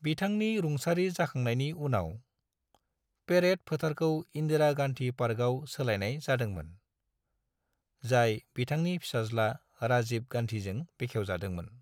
बिथांनि रुंसारि जाखांनायनि उनाव, पेरेड फोथारखौ इन्दिरा गान्धी पार्कआव सोलायनाय जादोंमोन, जाय बिथांनि फिसाज्ला राजीव गान्धीजों बेखेवजादोंमोन।